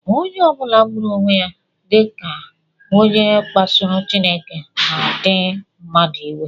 Onye ọ bụla gburu onwe ya na-adị ka onye kpasuru Chineke na ndị mmadụ iwe